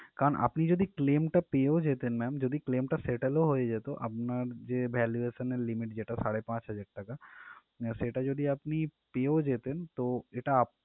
কারণ আপনি যদি claim টা পেয়েও যেতেন ma'am যদি claim টা settle ও হয়ে যেত আপনার যে valuation এর limit যেটা সাড়ে পাঁচ হাজার টাকা সেটা যদি আপনি পেয়েও যেতেন তো এটা আপনার